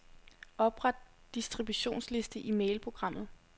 Opret distributionsliste i mailprogrammet.